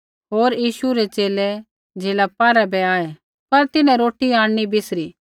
होर यीशु रै च़ेले झ़ीला पारा बै आऐ पर तिन्हैं रोटी आंणनी बिसरी